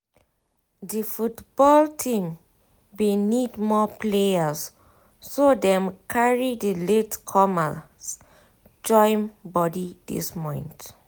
di football team bin need more players so dem carry di late comers join body this month